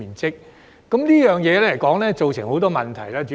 主席，這便造成很多問題。